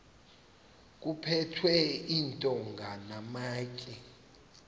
kuphethwe iintonga namatye